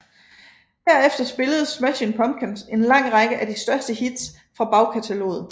Derefter spillede Smashing Pumpkins en lang række af de største hits fra bagkataloget